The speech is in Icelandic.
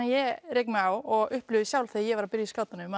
ég rek mig á og upplifi sjálf þegar ég byrja í skátunum